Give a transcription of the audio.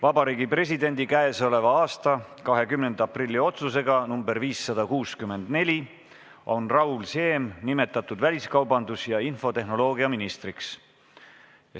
Vabariigi Presidendi k.a 20. aprilli otsusega nr 564 on Raul Siem nimetatud väliskaubandus- ja infotehnoloogia ministriks.